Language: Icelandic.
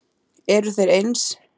Eru þeir eins?